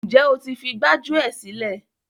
Ǹjẹ́ o ti fi gbájúẹ̀ sílẹ̀?